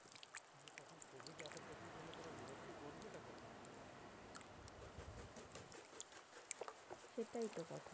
সেটাই তো কথা।